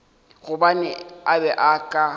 gobane a be a ka